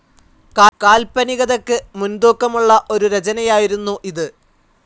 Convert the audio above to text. കാല്പനികതയ്ക്ക് മുൻതൂക്കമുള്ള ഒരു രചനയായിരുന്നു ഇത്.